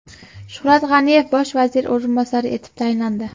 Shuhrat G‘aniyev bosh vazir o‘rinbosari etib tayinlandi.